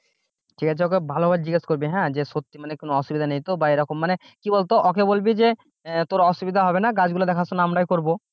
ঠিক আছে ওকে ভালোভাবে জিজ্ঞেস করবি, হ্যাঁ যে সত্যি মানে কোন অসুবিধা নেই তো বা এরকম মানে কি বলতো ওকে বলবি যে তোর অসুবিধা হবে না গাছগুলো দেখাশোনা আমরাই করব